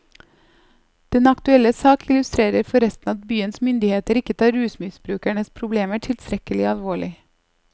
Den aktuelle sak illustrerer forresten at byens myndigheter ikke tar rusmisbrukernes problemer tilstrekkelig alvorlig.